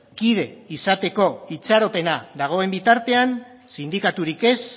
kide izateko itxaropena dagoen bitartean sindikaturik ez